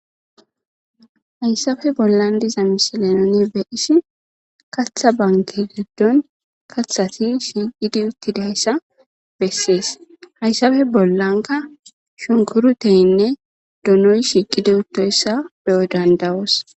hayssafe bollan diza misilenoni be isi katha banke geddon kathati shiiqidi uttidayssa bessees hayssafe bollanka shunkuru teyinne dunoy shiiqidi uttoyssa beyo dandawoos